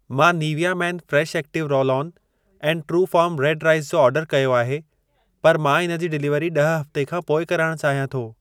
मां Nivea Men Fresh Active roll on and Truefarm red rice जो order कयो आहे, पर मां इन जी डिलीवरी ॾह हफ़्ते खां पोइ कराइण चाहियां थो।